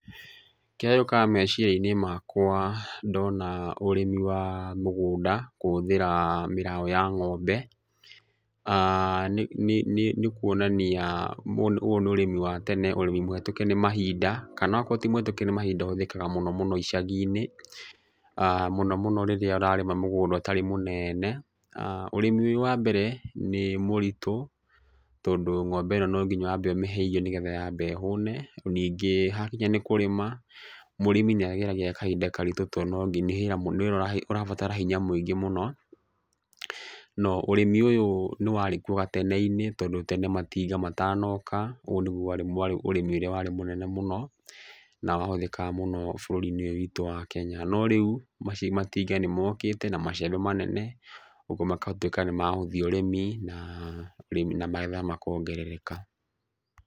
Kĩrĩa gĩũkaga meciria-inĩ makwa ndona ũrĩmi wa mũgũnda kũhũthĩra mĩraũ ya ng'ombe, nĩ kuonania ũyũ nĩ ũrĩmi wa tene, ũrĩmi mũhĩtũke nĩ mahinda kana okorwo ti mũhĩtũke nĩ mahinda ũhũthĩkaga mũno mũno icagi-inĩ. Mũno mũno rĩrĩa ũrarĩma mũgũnda ũtarĩ mũnene. Ũrĩmi ũrĩa wa mbere nĩ mũritũ tondũ ng'ombe ĩno no nginya wambe ũmĩhe irio nĩgetha yambe ĩhũne. Ningĩ hakinya nĩ kũrĩma, mũrĩmi nĩ ageragĩra kahinda karitũ tondũ nginya, nĩ wĩra ũrabatara hinya mũingĩ mũno. No ũrĩmi ũyũ nĩ warĩkuo gatene-inĩ tondũ tene matinga matanoka ũũ nĩguo ũrĩmi ũrĩa warĩ mũnene mũno, na wahũthĩkaga mũno bũrũri-inĩ ũyũ witũ wa Kenya. No rĩu matinga nĩ mokĩte na macembe manene, ũguo magatuĩka nĩ magũthiĩ ũrĩmi na magetha makongerereka.